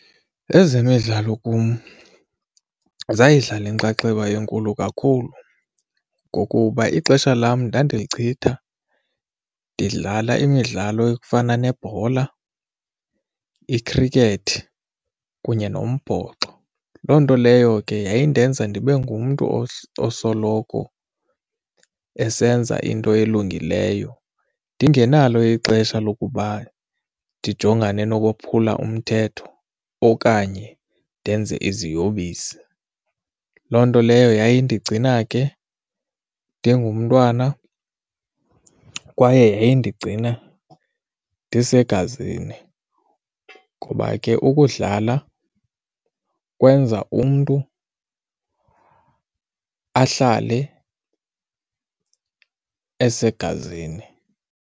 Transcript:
Ezemidlalo kum zayidlala inxaxheba enkulu kakhulu ngokuba ixesha lam ndandilichitha ndidlala imidlalo efana nebhola, ikhrikethi kunye nombhoxo. Loo nto leyo ke yayindenza ndibe ngumntu osoloko esenza into elungileyo ndingenalo ixesha lokuba ndijongane nokophula umthetho okanye ndenze iziyobisi. Loo nto leyo yayindigcina ke ndigumntwana kwaye yayindicinga ndisegazini ngoba ke ukudlala ukwenza umntu ahlale esegazini.